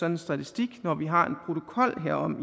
en statistik når vi har en protokol herom